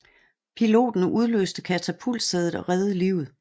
Piloten udløste katapultsædet og reddede livet